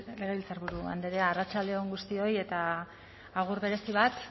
legebiltzarburu andrea arratsalde on guztioi eta agur berezi bat